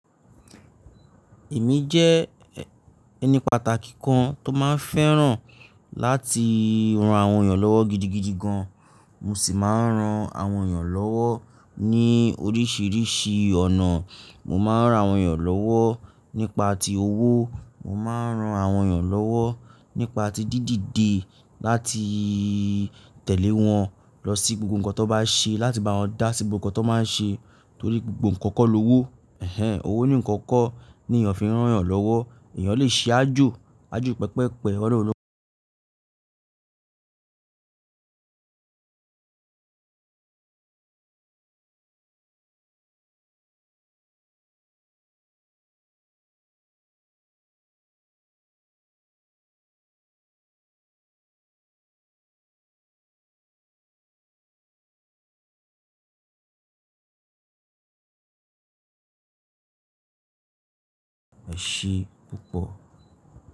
Èmi jẹ́ ẹni pàtàkì kan tó máa ń fẹ́ràn láti ran àwọn èèyàn lọ́wọ́ gidigidi gan. Mo sì máa ń ran àwọn èèyàn lọ́wọ́ ní oríṣiríṣi ọ̀nà. Mo máa ń ran àwọn èèyàn lọ́wọ́ nípa ti owó. Mo máa ń ran àwọn èèyàn lọ́wọ́ nípa ti dídìde láti tẹ̀lé wọn lọ sí gbogbo nǹkan tó bá ṣe, láti bá wọn dá sí gbogbo nǹkan tó máa ń ṣe torí gbogbo nǹkan kọ́ lọ́wọ́. Ẹ̀hẹn! Owó nikan kọ́ ni èèyàn fi ń rán èèyàn lọ́wọ́. Ẹ̀eyàn lè ṣe aàjò, àajò pẹpẹpẹ ọ̀nà won lo e se pupo.